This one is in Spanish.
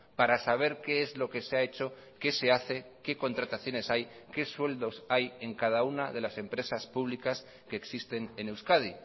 para saber qué es lo que se ha hecho qué se hace qué contrataciones hay qué sueldos hay en cada una de las empresas públicas que existen en euskadi